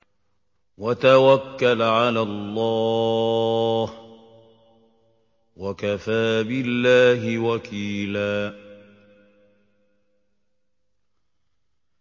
وَتَوَكَّلْ عَلَى اللَّهِ ۚ وَكَفَىٰ بِاللَّهِ وَكِيلًا